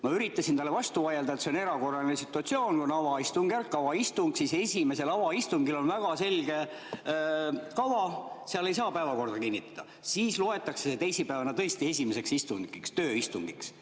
Ma üritasin talle vastu vaielda, et see on erakorraline situatsioon, on avaistungjärk, avaistung, ja avaistungil on väga selge kava, seal ei saa päevakorda kinnitada ja siis loetakse teisipäevane istung tõesti esimeseks istungiks, tööistungiks.